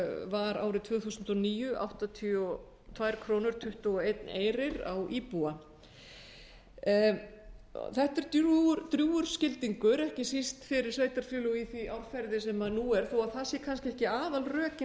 var árið tvö þúsund og níu áttatíu og tvö tuttugu og ein króna á íbúa þetta er drjúgur skildingur ekki síst fyrir sveitarfélög í því árferði sem nú er þó að það séu kannski ekki aðalrökin